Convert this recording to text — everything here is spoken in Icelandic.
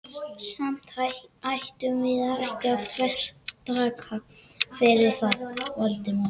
Samt ættum við ekki að þvertaka fyrir það, Valdimar.